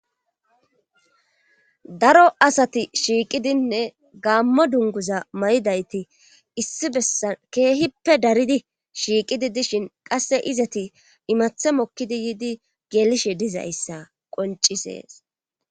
Daro asati shiiqidinne gaammo dunguza may7idayti issi bessan keehippe daridi shiiqidi dishin qasse izati imathe mokkidi yiidi geelishe dizayssa qoncisees